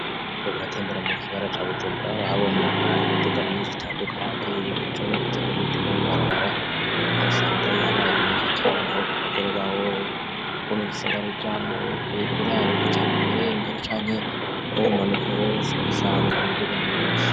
Aba bariko baratembera mu gisigara ca bujumbura habona imiduga myinshi itanduka nye ye biruca nubutzaga imituga mu barabara asanga yabaye myinshi cane nabo ko gaguru bawoivo ma igisagaru ca mu burarugo cane mu burendero canke bo bumanuka bose basanga imiduga myinshi.